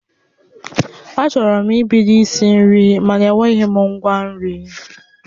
Achọrọ m ibido isi nri mana enweghị m ngwa nri